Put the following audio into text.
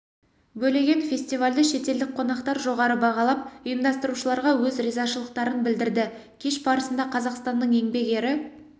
бөлеген фестивальді шетелдік қонақтар жоғары бағалап ұйымдастырушыларға өз ризашылықтарын білдірді кеш барысында қазақстанның еңбек ері